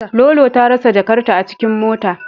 Lolo ta rasa jakarta a cikin mota.